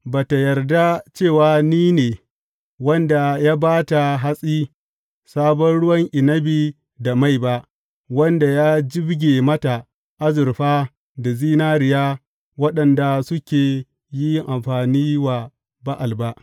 Ba ta yarda cewa ni ne wanda ya ba ta hatsi, sabon ruwan inabi da mai ba, wanda ya jibge mata azurfa da zinariya, waɗanda suka yi amfani wa Ba’al ba.